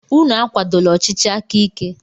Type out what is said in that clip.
Unu akwadola ọchịchị aka ike!